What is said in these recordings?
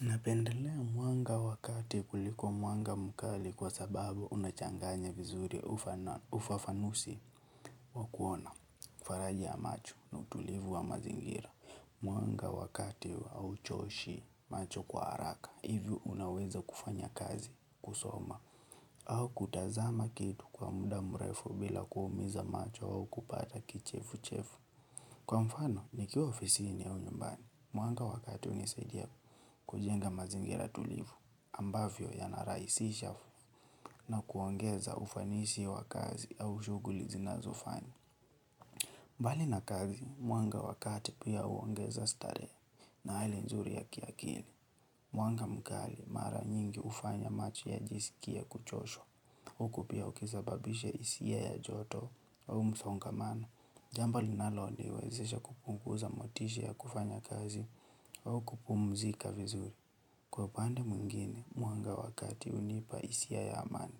Napendelea mwanga wa kati kuliko mwanga mkali kwa sababu umechanganya vizuri ufafanusi wa kuona faraja ya macho na utulivu wa mazingira. Mwanga wa kati au choshi macho kwa haraka hivyo unaweza kufanya kazi kusoma au kutazama kitu kwa muda mrefu bila kuumiza macho au kupata kichefu chefu. Kwa mfano, nikiwa ofisini au nyumbani. Mwanga wa kati hunisadia kujenga mazingira tulivu ambavyo yanarahisisha na kuongeza ufanisi wa kazi au shuguli zinazofanya. Mbali na kazi, mwanga wa kati pia huongeza starehe na hali nzuri ya kiakili. Mwanga mkali mara nyingi hufanya macho yajisikie kuchoshwa. Huku pia ukisababisha hisia ya joto au msongamano. Jamba linaloniwezesha kupunguza motisha ya kufanya kazi au kupumzika vizuri. Kwa upande mwingine, mwanga wa kati hunipa hisia ya amani,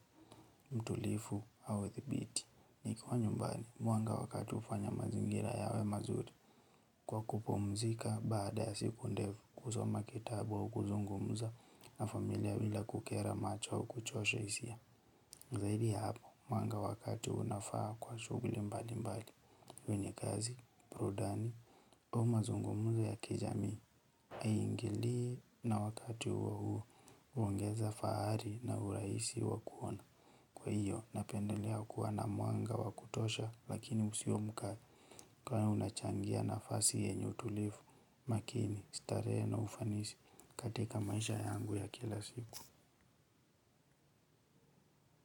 utulivu au thibiti. Nikiwa nyumbani, mwanga wa kati hufanya mazingira yawe mazuri. Kwa kupumzika baada ya siku ndefu, kusoma kitabu au kuzungumza na familia bila kukera macho au kuchosha hisia. Na zaidi ya hapo, mwanga wa kati unafaa kwa shugli mbali mbali. Kwenye kazi, burudani, au mazungumzo ya kijami. Hangilii na wakati huo huo, huongeza fahari na urahisi wa kuona. Kwa hiyo, napendelea kuoana mwanga wa kutosha lakini usiomuka. Kwa hiyo unachangia nafasi yenyu utulivu, makini, starehe na ufanisi. Katika maisha yangu ya kila siku.